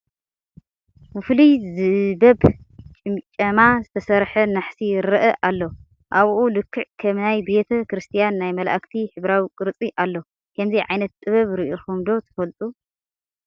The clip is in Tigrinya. ብፍሉይ ዝበብ ጭምጨማ ዝተሰርሐ ናሕሲ ይርአ ኣሎ፡፡ ኣብኡ ልክዕ ከም ናይ ቤተ ክርስቲያን ናይ መላእክቲ ሕብራዊ ቅርፂ ኣሎ፡፡ ከምዚ ዓይነት ጥበብ ርኢኹም ዶ ትፈልጡ?